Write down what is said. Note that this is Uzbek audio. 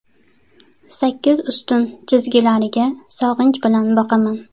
Sakkiz ustun chizgilariga sog‘inch bilan boqaman.